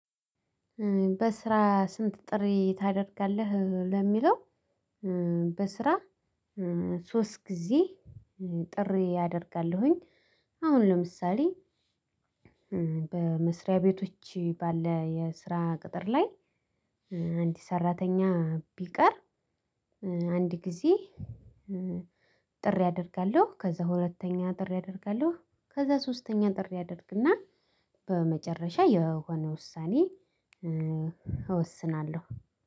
በስራ ስንት ጥሪ ታደርጋለህ? ለሚለው በስራ ሶስት ጊዜ ጥሪ አደርጋለሁኝ አሁን ለምሳሌ በመስሪያ ቤቶች ባለ የስራ ቅጥር ላይ አንድ ሰራተኛ ቢቀር አንድ ጊዜ ጥሪ አደርጋለሁ ከዛ ሁለተኛ ጥሪ አደርጋለሁ ከዛ ሶስተኛ ጥሪ አደርግና በመጨረሻ የሆነ ውሳኔ እወስናለሁ።